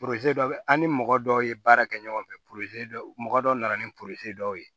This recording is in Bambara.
dɔ bɛ an ni mɔgɔ dɔw ye baara kɛ ɲɔgɔn fɛ dɔ mɔgɔ dɔ nana ni dɔw ye